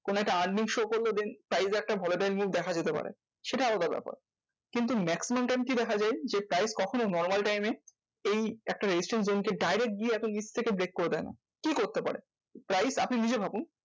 কোনো একটা earning show করলো then চাইলে side এ একটা volatile move দেখা যেতে পারে সেটা আলাদা ব্যাপার। কিন্তু maximum time কি দেখা যায়? যে price কখনো normal time এ এই একটা resistance zone direct গিয়ে এত নিচ থেকে break করে দেয় না। কি করতে পারে? price আপনি নিজে ভাবুন।